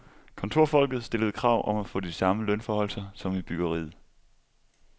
Kontorfolket stillede krav om at få de samme lønforhøjelser som i byggeriet.